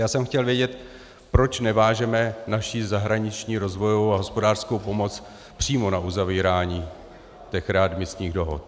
Já jsem chtěl vědět, proč nevážeme naši zahraniční rozvojovou a hospodářskou pomoc přímo na uzavírání těch readmisních dohod.